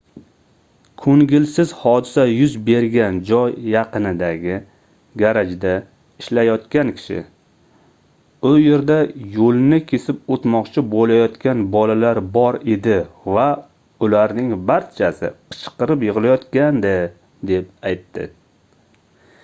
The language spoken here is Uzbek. koʻngilsiz hodisa yuz bergan joy yaqinidagi garajda ishlayotgan kishi u yerda yoʻlni kesib oʻtmoqchi boʻlayotgan bolalar bor edi va ularning barchasi qichqirib yigʻlayotgandi deb aytdi